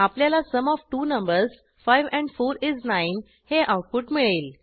आपल्याला sum of two numbers 5 and 4 is 9 हे output मिळेल